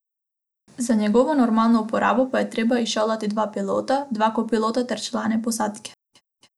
Za njegovo normalno uporabo pa je treba izšolati dva pilota, dva kopilota ter člane posadke.